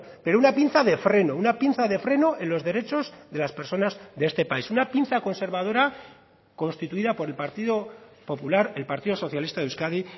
pero una pinza de freno una pinza de freno en los derechos de las personas de este país una pinza conservadora constituida por el partido popular el partido socialista de euskadi